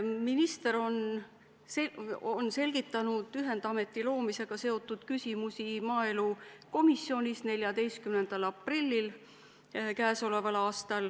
Minister on selgitanud ühendameti loomisega seotud küsimusi maaelukomisjonis 14. aprillil.